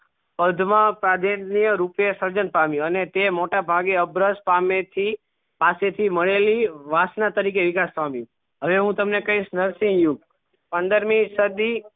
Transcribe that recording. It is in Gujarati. પદ મા પામ્યું અને તે મોટા ભાગે અબ્રસ્ત પામે થી પાસે થી મળેલી વાસના તરીકે પામ્યું હવે હું તમને કહીસ નરસિહ યુગ પંદરમી સદી